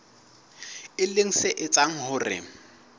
e leng se etsang hore